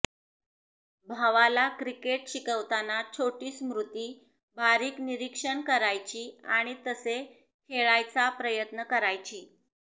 भावाला क्रिकेट शिकवताना छोटी स्मृती बारीक निरिक्षण करायची आणि तसे खेळायचा प्रयत्न करायची